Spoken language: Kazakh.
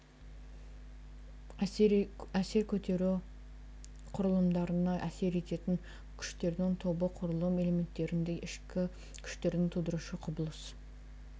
әсер көтеру құрылымдарына әсер ететін күштердің тобы құрылым элементтерінде ішкі күштерді тудырушы құбылыс